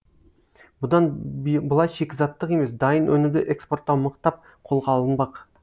бұдан былай шикізаттық емес дайын өнімді экспорттау мықтап қолға алынбақ